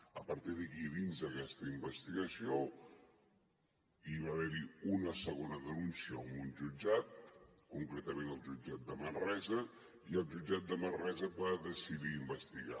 a partir d’aquí i dins aquesta investigació va haver hi una segona denúncia en un jutjat concretament al jutjat de manresa i el jutjat de manresa va decidir investigar